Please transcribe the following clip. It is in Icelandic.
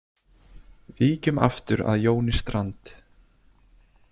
Víkjum aftur að Jóni Strand.